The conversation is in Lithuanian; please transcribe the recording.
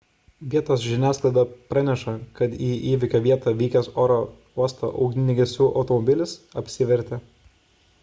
vietos žiniasklaida praneša kad į įvykio vietą vykęs oro uosto ugniagesių automobilis apsivertė